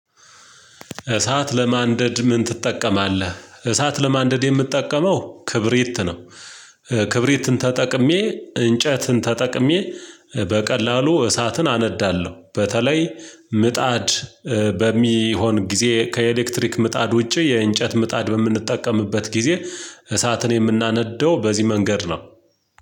እሳት ለማንደድ ምን ትጠቀማለህ? እሳት ለማንደድ የምትጠቀመው ክብሪት ነው። ክብሪትን ተጠቅሜ እንጨትን ተጠቅሜ በቀላሉ እሳትን አነዳለሁ በተለይ ምጣድ በሚሆን ጊዜ ከኤሌክትሪክ ምጣድ ውጪ የእንጨት ምጣድ በምንጠቀምበት ጊዜ እሳትን የምናነደው በዚህ መንገድ ነው።